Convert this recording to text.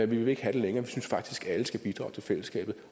vil ikke have det længere vi synes faktisk at alle skal bidrage til fællesskabet